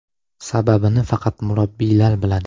Sababini faqat murabbiylar biladi.